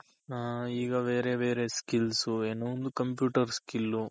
ಹ ಈಗ ವೇರೆ ವೇರೆ skills ಏನೋ ಒಂದು computer skill